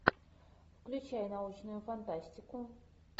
включай научную фантастику